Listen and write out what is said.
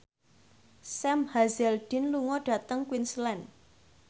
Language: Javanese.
Sam Hazeldine lunga dhateng Queensland